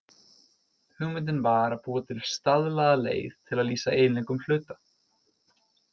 Hugmyndin var að búa til staðlaða leið til að lýsa eiginleikum hluta.